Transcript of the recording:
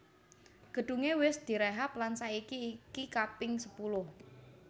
Gedunge wis direhab lan saiki iki kaping sepuluh